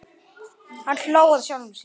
Hann hló að sjálfum sér.